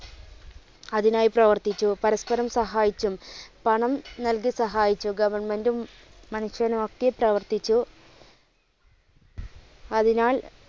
അതിനായി പ്രവർത്തിച്ചു, പരസ്പ്പരം സഹായിച്ചു, പണം നൽകി സഹായിച്ചു, goverment ഉം മനുഷ്യനും ഒക്കെ പ്രവർത്തിച്ചു അതിനാൽ